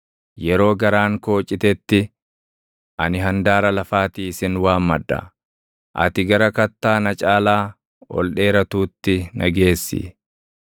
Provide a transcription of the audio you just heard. Yeroo garaan koo citetti, ani handaara lafaatii sin waammadha; ati gara kattaa na caalaa ol dheeratuutti na geessi.